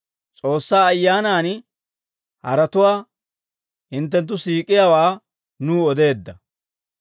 S'oossaa Ayyaanan haratuwaa hinttenttu siik'iyaawaa nuw odeedda.